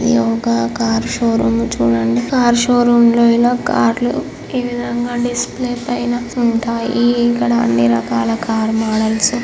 ఇది ఒక car showroom చూడండి. కారు షోరూం లో ఇలా కార్ లు ఈ విధంగా డిస్ప్లే పైన ఉంటాయి. ఇక్కడ అన్ని రకాల కార్ మోడల్స్ ఉం --